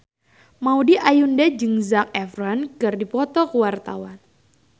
Maudy Ayunda jeung Zac Efron keur dipoto ku wartawan